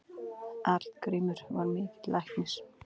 Arngrímur var mikill læknir.